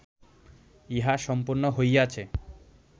ইহা সম্পন্ন হইয়াছে